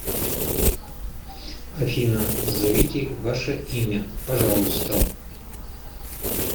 афина назовите ваше имя пожалуйста